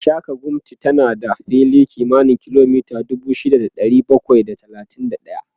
Gashaka-gumti tana da fili kimanin kilomita dubu shida da ɗari bakwai da talatin da ɗaya